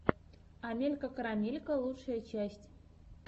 амелька карамелька лучшая часть